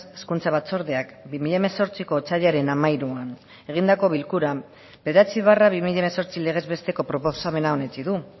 hezkuntza batzordeak bi mila hemezortziko otsailaren hamairuan egindako bilkuran bederatzi barra bi mila hemezortzi legez besteko proposamena onetsi du